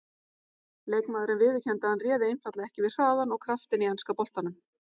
Leikmaðurinn viðurkenndi að hann réði einfaldlega ekki við hraðann og kraftinn í enska boltanum.